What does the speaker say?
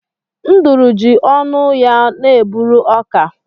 Nduru ji ọnụ ọnụ ya na-eburu ọka.